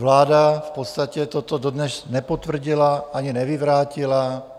Vláda v podstatě toto dodnes nepotvrdila ani nevyvrátila.